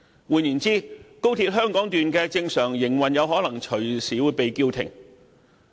換言之，高鐵香港段的正常營運可能隨時被叫停。